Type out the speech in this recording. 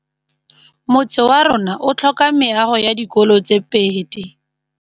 Motse warona o tlhoka meago ya dikolô tse pedi.